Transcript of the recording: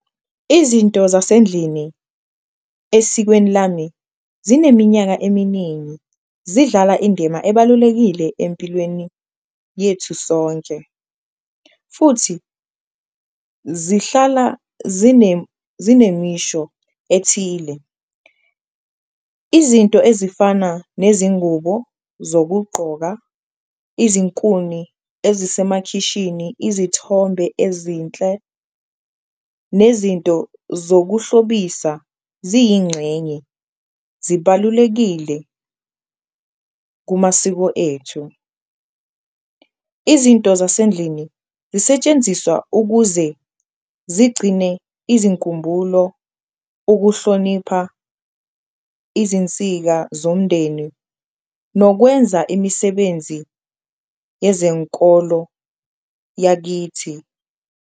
Izinto zasendlini esikweni lami zineminyaka eminingi zidlala indima ebalulekile empilweni yethu sonke futhi zihlala zinemisho ethile, izinto ezifana nezingubo zokugqoka, izinkuni ezisemakhishini, izithombe ezinhle, nezinto zokuhlobisa ziyingxenye zibalulekile kumasiko ethu. Izinto zasendlini zisetshenziswa ukuze zigcine izinkumbulo, ukuhlonipha izinsika zomndeni nokwenza imisebenzi yezenkolo yakithi.